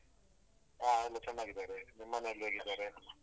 ಹಾ ಎಲ್ಲ ಚೆನ್ನಾಗಿದ್ದಾರೆ ನಿಮ್ಮ್ ಮನೆಲ್ಲ್ ಹೇಗಿದ್ದಾರೆ?